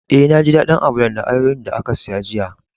Eh, na ji dadin Amalan da ayoyo'n da ka siya jiya.